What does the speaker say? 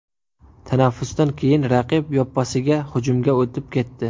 Tanaffusdan keyin raqib yoppasiga hujumga o‘tib ketdi.